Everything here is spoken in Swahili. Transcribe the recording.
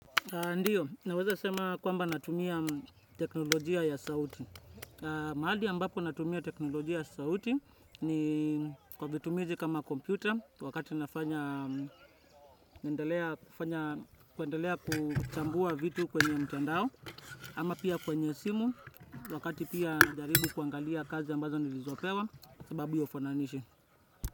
Ndio, naweza sema kwamba natumia teknolojia ya sauti. Mahali ambapo natumia teknolojia ya sauti ni kwa vitumizi kama kompyuta wakati nafanya, naendelea kuchambua vitu kwenye mtandao ama pia kwenye simu wakati pia najaribu kuangalia kazi ambazo nilizopewa sababu ya ufananishi.